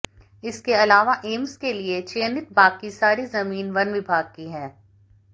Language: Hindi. इसके अलावा एम्स के लिए चयनित बाकी सारी जमीन वन विभाग की है